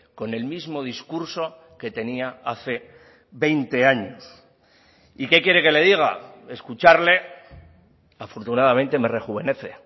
con el mismo discurso que tenía hace veinte años y qué quiere que le diga escucharle afortunadamente me rejuvenece